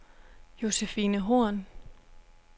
Josefine Horn